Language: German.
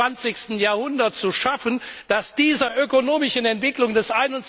21. Jahrhundert zu schaffen, das dieser ökonomischen Entwicklung des